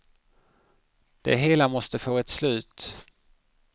Det hela måste få ett slut.